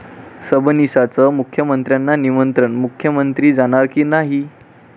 सबनीसांचं मुख्यमंत्र्यांना निमंत्रण, मुख्यमंत्री जाणार की नाही?